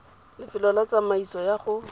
lefelo la tsamaiso ya go